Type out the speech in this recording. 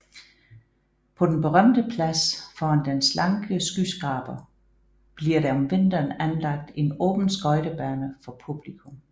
På den berømte plads foran den slanke skyskraber bliver der om vinteren anlagt en åben skøjtebane for publikum